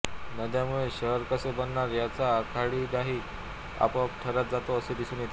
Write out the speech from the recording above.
नद्यामुळे शहर कसे बनणार याचा आराखडाही आपोआप ठरत जातो असे दिसून येते